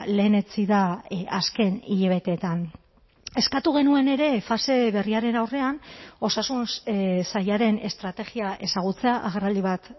lehenetsi da azken hilabeteetan eskatu genuen ere fase berriaren aurrean osasun sailaren estrategia ezagutzea agerraldi bat